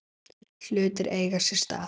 Hlutir eiga sér stað.